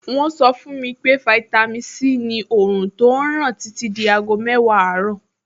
Wọ́n sọ fún mi pé fáítámì Sí ni òòrùn tó ràn títí di aago mẹ́wàá àárọ̀.